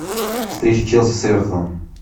встреча челси с эвертоном